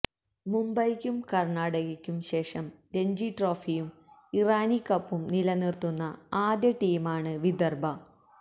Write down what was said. മുംബൈക്കും കര്ണാടകയ്ക്കും ശേഷം രഞ്ജിട്രോഫിയും ഇറാനി കപ്പും നിലനിര്ത്തുന്ന ആദ്യ ടീമാണ് വിദര്ഭ